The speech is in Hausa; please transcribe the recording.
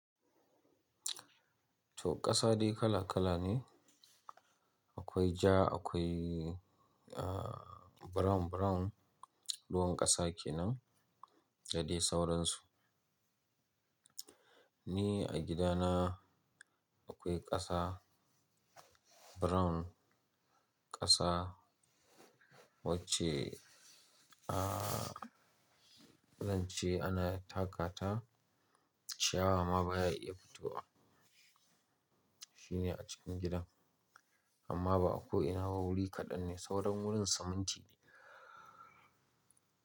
To kasa dai kala kala ne, akwai ja akwai, brown brown ruwan kasa kenan da dai sauransu. Ni a gidana akwai kasa brown, kasa wacce zan ce ana taka ta ciyawa ma baya iya fitowa. Shi ne a cikin gidan amma ba'a ko ina ha wuri kaɗan ne sauran wurin siminti ne.